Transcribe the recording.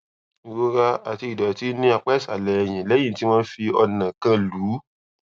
ìrora àti ìdòtí ní apá ìsàlè ẹyìn léyìn tí wón fi ọnà kan lù ú